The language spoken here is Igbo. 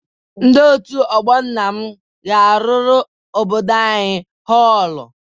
Ndị òtù ọgbọ nna m ga-arụrụ obodo anyị họlụ.